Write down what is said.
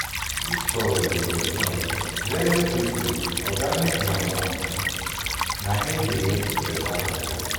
dis kind um soil dey very respond quick quick organic manure na im dey make beta um harvest